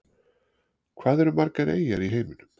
Hvað eru margar eyjar í heiminum?